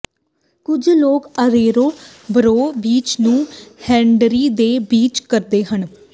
ਕੁਝ ਲੋਕ Arroyo Burro beach ਨੂੰ ਹੇਨਡਰੀ ਦੇ ਬੀਚ ਕਹਿੰਦੇ ਹਨ